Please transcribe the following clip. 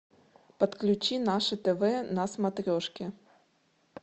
подключи наше тв на смотрешке